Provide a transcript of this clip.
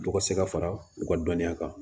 Dɔ ka se ka fara u ka dɔnniya kan